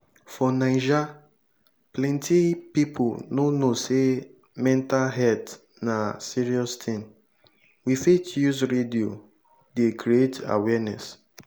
for naija plenty pipo no know sey mental health na serious thing we fit use radio dey create awareness